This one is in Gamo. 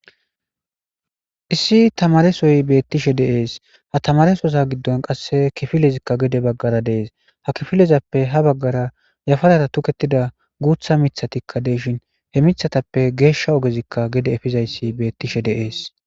Issi tamarressoy betishe dees ha tamarressa giddon kiffilezzikka gedde bagarra de77ees ha kiffilletappe ha bagarra yafaradan tokettida gutha mithati gesha oggeti gedde effizy de77ees.